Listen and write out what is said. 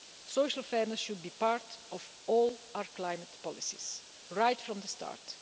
Social fairness should be part of all our climate policies, right from the start.